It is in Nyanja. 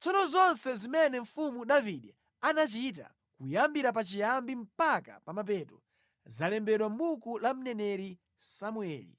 Tsono zonse zimene mfumu Davide anachita, kuyambira pachiyambi mpaka pa mapeto, zalembedwa mʼbuku la mneneri Samueli,